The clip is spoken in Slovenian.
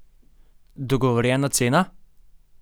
Dogovorjena cena?